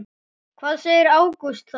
Hvað segir Ágúst Þór?